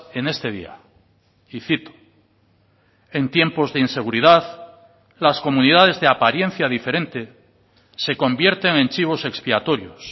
en este día y cito en tiempos de inseguridad las comunidades de apariencia diferente se convierten en chivos expiatorios